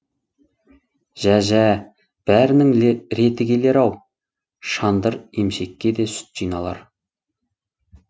жә жә бәрінің реті келер ау шандыр емшекке де сүт жиналар